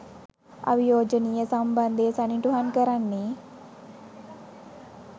අවියෝජනීය සම්බන්ධය සනිටුහන් කරන්නේ